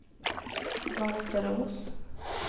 Mönsterås